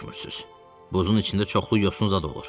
Buzun içində çoxlu yosun zad olur.